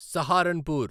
Saharanpur